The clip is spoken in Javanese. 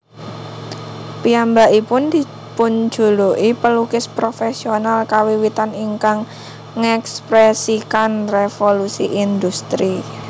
Piyambakipun dipunjuluki pelukis profesional kawiwitan ingkang ngèkspresikan Revolusi Industri